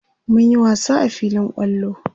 mun Yi wasa a filin kwallo